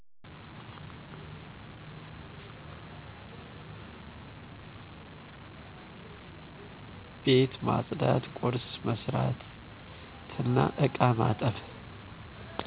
ቤት ማፅዳት፣ ቁርስ መስራትናእቃ ማጠብ